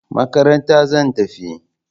Makaranta zan tafi